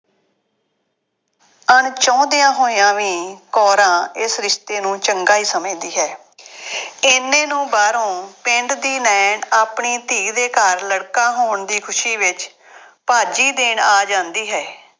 ਅਣ-ਚਾਹੁੰਦਿਆ ਹੋਇਆ ਵੀ ਕੌਰਾਂ ਇਸ ਰਿਸ਼ਤੇ ਨੂੰ ਚੰਗਾ ਹੀ ਸਮਝਦੀ ਹੈ। ਐਨੇ ਨੂੰ ਬਾਹਰੋਂ ਪਿੰਡ ਦੀ ਨਾਇਣ ਆਪਣੀ ਧੀ ਦੇ ਘਰ ਲੜਕਾ ਹੋਣ ਦੀ ਖੁਸ਼ੀ ਵਿੱਚ ਭਾਜੀ ਦੇਣ ਆ ਜਾਂਦੀ ਹੈ।